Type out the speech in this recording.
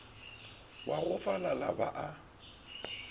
wa go falala ba a